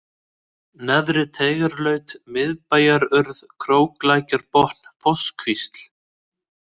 Neðri-Teigarlaut, Miðbæjarurð, Króklækjarbotn, Fosskvísl